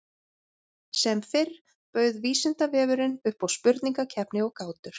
Sem fyrr bauð Vísindavefurinn upp á spurningakeppni og gátur.